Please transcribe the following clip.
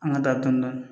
An ka taa dɔni dɔni